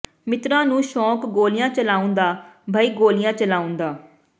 ਮਿੱਤਰਾਂ ਨੂੰ ਸ਼ੋਂਕ ਗੋਲੀਆਂ ਚਲਾਉਣ ਦਾ ਬਈ ਗੋਲੀਆਂ ਚਲਾਉਣ ਦਾ